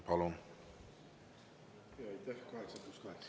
Palun!